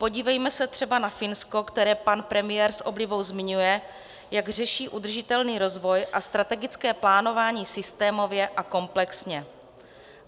Podívejme se třeba na Finsko, které pan premiér s oblibou zmiňuje, jak řeší udržitelný rozvoj a strategické plánování systémově a komplexně.